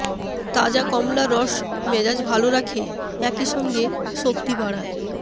তাজা কমলার রস মেজাজ ভাল রাখে একই সঙ্গে শক্তি বাড়ায়